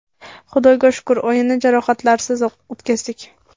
Xudoga shukur, o‘yinni jarohatlarsiz o‘tkazdik.